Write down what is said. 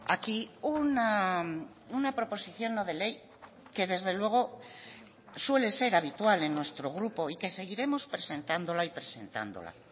aquí una proposición no de ley que desde luego suele ser habitual en nuestro grupo y que seguiremos presentándola y presentándola